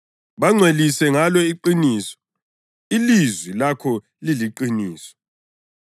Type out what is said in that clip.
Bangcwelise ngalo iqiniso; ilizwi lakho liliqiniso.